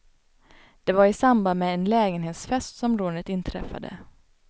Det var i samband med en lägenhetsfest som rånet inträffade.